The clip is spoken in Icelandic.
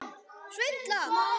Enginn mælti orð af vörum.